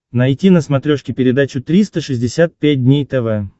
найти на смотрешке передачу триста шестьдесят пять дней тв